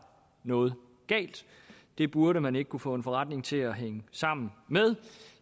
noget galt det burde man ikke kunne få en forretning til at hænge sammen med